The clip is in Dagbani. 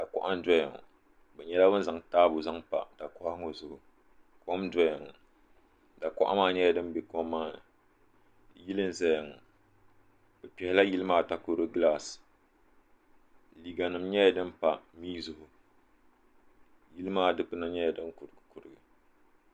Dakuɣa n doya ŋɔ be nyɛla ban zaŋ taabo zaŋ pa da kuɣa ŋɔ zuɣu kom n doya ŋɔ da kuɣa maa nyɛla din bɛ kom maa ni yili n zaya ŋɔ bi kpɛhila yili maa takoro galaasi liga nim nyɛla din pa mii zuɣu yili maa dikpuna nyɛla din kurigi kurigi.